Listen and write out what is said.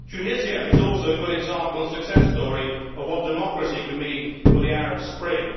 Tunisia is also a good example and success story of what democracy can mean for the Arab Spring.